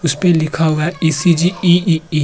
इस पे लिखा हुआ है ई.सी.जी.ई.ई. ।